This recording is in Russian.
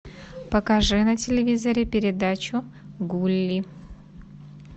покажи на телевизоре передачу гулли